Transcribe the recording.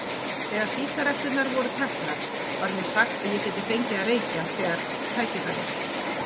Þegar sígaretturnar voru teknar var mér sagt að ég gæti fengið að reykja þegar tækifæri